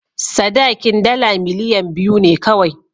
Sadakin dala miliyan biyu ne kawai.